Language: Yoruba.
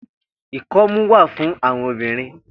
Ikọmù wà fùn áwòn óbirìn